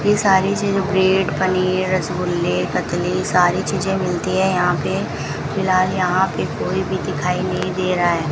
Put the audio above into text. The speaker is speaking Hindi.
ये सारी चीज ब्रेड पनीर रसगुल्ले कतली सारी चीजें मिलती हैं यहां पे फिलहाल यहां पे कोई भी दिखाई नहीं दे रहा है।